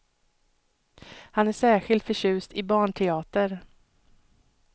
Han är särskilt förtjust i barnteater.